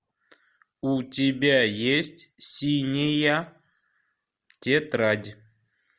у тебя есть синяя тетрадь